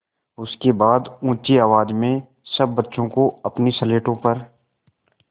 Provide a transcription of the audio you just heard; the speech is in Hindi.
उसके बाद ऊँची आवाज़ में सब बच्चों को अपनी स्लेटों पर